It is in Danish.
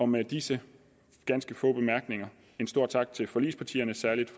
med disse ganske få bemærkninger en stor tak til forligspartierne særlig